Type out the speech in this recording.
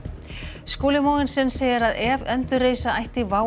Skúli Mogensen segir að ef endurreisa ætti WOW